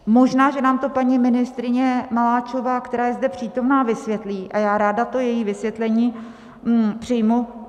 Možná, že nám to paní ministryně Maláčová, která je zde přítomna, vysvětlí, a já ráda to její vysvětlení přijmu.